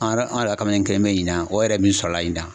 An yɛrɛ an yɛrɛ ka kamalen kelen beyi ɲina o yɛrɛ min sɔrɔla ɲina.